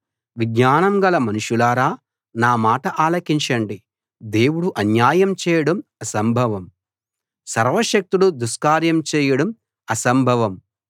విజ్ఞానం గల మనుషులారా నా మాట ఆలకించండి దేవుడు అన్యాయం చేయడం అసంభవం సర్వశక్తుడు దుష్కార్యం చేయడం అసంభవం